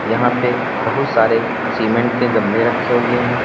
यहां पे बहुत सारे सीमेंट के गमले रखे हुए हैं।